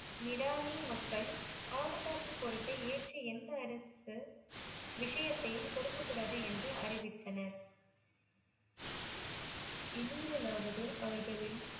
நீடானி மக்கள் பாதுகாப்பு பொறுப்பை ஏற்று எந்த அரசு விசையத்தையும் கொடுக்ககூடதுன்னு எந்த அரசு அறிவித்தனர் இனிமேலாவது அவர்களின்